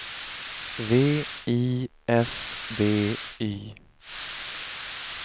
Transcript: V I S B Y